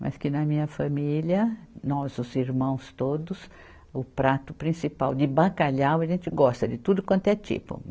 Mas que na minha família, nós os irmãos todos, o prato principal de bacalhau, a gente gosta de tudo quanto é tipo.